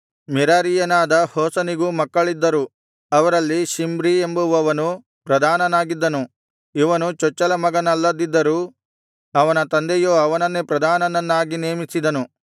ಮೆರಾರೀಯನಾದ ಹೋಸನಿಗೂ ಮಕ್ಕಳಿದ್ದರು ಅವರಲ್ಲಿ ಶಿಮ್ರಿ ಎಂಬುವವನು ಪ್ರಧಾನನಾಗಿದ್ದನು ಇವನು ಚೊಚ್ಚಲ ಮಗನಲ್ಲದಿದ್ದರೂ ಅವನ ತಂದೆಯು ಅವನನ್ನೇ ಪ್ರಧಾನನನ್ನಾಗಿ ನೇಮಿಸಿದನು